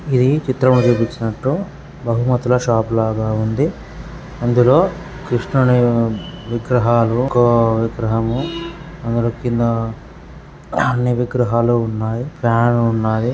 ఇది చిత్రంలో చూపించినట్టు బహుమతుల షాప్ లాగ ఉంది అందులో కృష్ణుని విగ్రహాలు ఇంకో విగ్రహము అక్కడ కింద అన్ని విగ్రహాలు వున్నాయి ఫ్యాన్ ఉంది.